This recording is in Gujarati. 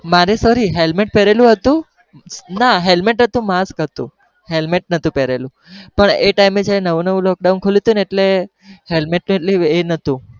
મારે sorry helmet પેરેલું હતું ના helmet હતું mask હતું helmet નહતું પેહરેલું પણ એ time છે ને નવું નવું lockdown ખુલ્યું હતું એટલે helmet એ નહતું